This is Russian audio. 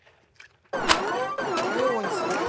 леонтьева